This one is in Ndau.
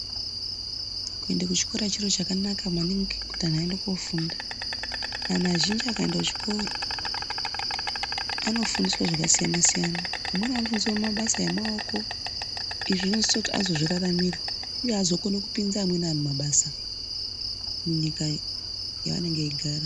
Kuenda kuchikora chiro chakanaka maningi kuti antu aende koofunda. Antu azhinji akaenda kuchikora, anofundiswa zvakasiyana siyana. Amweni anofundiswa mabasa emaoko izvi zvinozoita kuti azozviraramira. Uye azokona kupinza amweni vantu mabasa munyika yavanenge veigara.